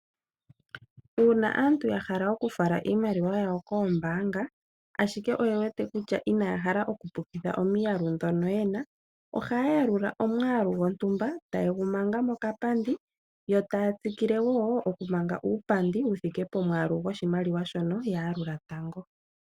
Una aantu ya hala oku fala iimaliwa yawo koombanga ashike oye wete kutya inaya hala oku pukitha omiyalu dhono yena. Ohaya alula omwalu gondumba taye gu manga mokapandi yo taya tsikilewo oku manga uupandi uukwawo wuthike pomwalu goshimaliwa shono shithike pomwalu goshimaliwa shono yalula tango.